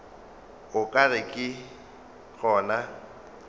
o ka re ke gona